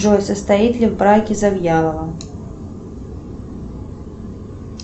джой состоит ли в браке завьялова